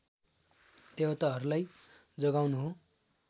देवताहरूलाई जगाउनु हो